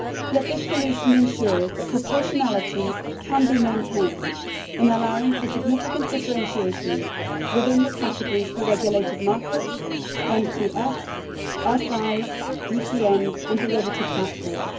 Yet this solution ensures that proportionality can be maintained in allowing for significant differentiation within the categories for regulated markets, MTFs, SIs, BCNs and derivative platforms.